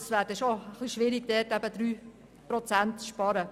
Es wäre schwierig, überall dort 3 Prozent zu sparen.